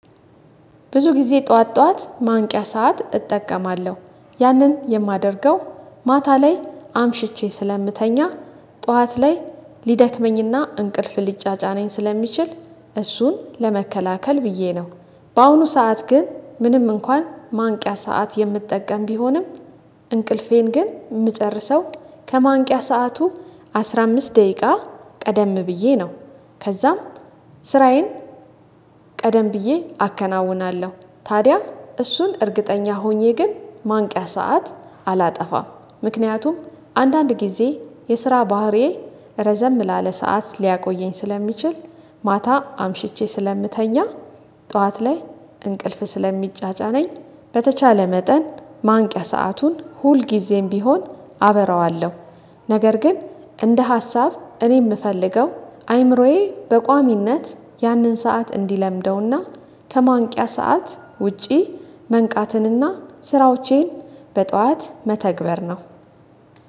ብዙ ጊዜ ጠዋት ጠዋት ማንቂያ ሰዓት እጠቀማለሁ ያንን የማደርገው ማታ ላይ አምሽቼ ስለምተኛ ጠዋት ላይ ሊደክመኝና እንቅልፍ ሊጫጫነኝ ስለሚችል እሱን ለመከላከል ብዬ ነው። በአሁኑ ሰዓት ግን ምንም እንኳን ማንቂያ ሰዓት የምጠቀም ቢሆንም። እንቅልፌን ግን የምጨርሰው ከማንቂያ ሰዓቱ አስራ አምስት ደቂቃ ቀደም ብዬ ነው። ከዛም ስራዬን ቀደም ብዬ አከናውናለሁ። ታዲያ እሱን እርግጠኛ ሆኜ ግን ማንቂያ ሰዓት አላጠፋም። ምክንያቱም አንዳንድ ጊዜ የስራ ባህሪዬ ረዘም ላለ ሰዓት ሊያቆየኝ ስለሚችል። ማታ አምሽቼ ስለምተኛ ጠዋት ላይ እንቅልፍ ስለሚጫጫነኝ በተቻለ መጠን ማንቂያ ሰአቱን ሁልጊዜም ቢሆን አበራዋለሁ። ነገር ግን እንደ ሀሳብ እኔ የምፈልገው አይምሮዬ በቋሚነት ያንን ሰዓት እንዲለምደውና ከማንቂያ ሰዓት ውጪ መንቃትንና ስራዎቼን በጧት መተግበር ነው